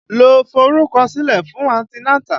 Lọ forúkọ sílẹ̀ fún anti nátà!